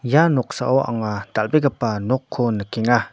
ia noksao anga dal·begipa nokko nikenga.